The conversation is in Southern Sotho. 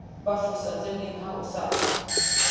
ba fosetsaneng ha o sa